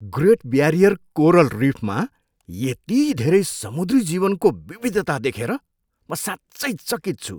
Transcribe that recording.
Great barrier coral रिफमा यति धेरै समुद्री जीवनको विविधता देखेर म साँच्चै चकित छु।